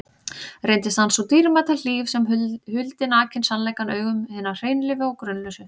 Reyndist hann sú dýrmæta hlíf sem huldi nakinn sannleikann augum hinna hreinlífu og grunlausu.